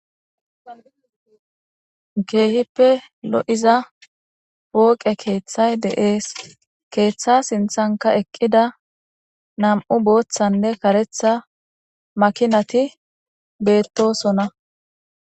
Keehippe lo'iza wooqe keeththay de'ees keeththa sinthanka eqqida nam'u booththanne karetha makinati beettosonna